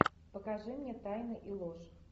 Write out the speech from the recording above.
покажи мне тайны и ложь